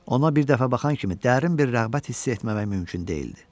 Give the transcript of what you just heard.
Ona bir dəfə baxan kimi dərin bir rəğbət hissi etməmək mümkün deyildi.